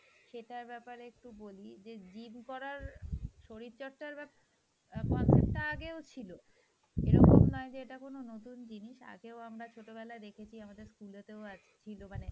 সেটার ব্যাপারে একটু বলি gym করার শরীরচর্চার ব্যাপ~ concept টা আগেও ছিল, এরকম নয় যে এটা কোনো নতুন জিনিস, আগেও আমরা ছোটবেলায় দেখেছি আমাদের school এ তেও আছ~ ছিল